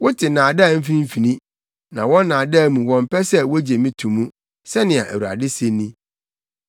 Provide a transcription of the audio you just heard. Wote nnaadaa mfimfini; na wɔn nnaadaa mu wɔmpɛ sɛ wogye me to mu,” sɛnea Awurade se ni.